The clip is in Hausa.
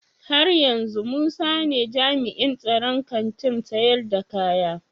Haryanzu musa ne jami'in tsaron Kantin sayar da kaya?